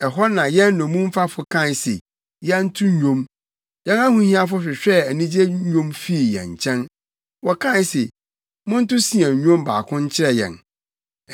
ɛhɔ na yɛn nnommumfafo kaa se yɛnto nnwom, yɛn ahohiafo hwehwɛɛ anigye nnwom fii yɛn nkyɛn; wɔkae se, “Monto Sion nnwom baako nkyerɛ yɛn!”